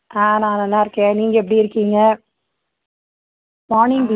ஆஹ் நான் நல்லா இருக்கேன். நீங்க எப்படி இருக்கீங்க? morning